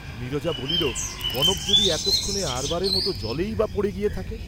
নীরজা বলিল, কনক যদি এতক্ষণে আরবারের মত জলেই বা পড়ে গিয়ে থাকে?